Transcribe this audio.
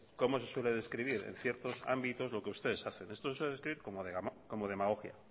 como se suele describir en ciertos ámbitos lo que ustedes hacen esto se describe como demagogia